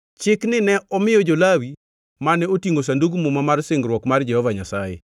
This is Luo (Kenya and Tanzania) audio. chikni ne omiyo jo-Lawi mane otingʼo Sandug Muma mar singruok mar Jehova Nyasaye.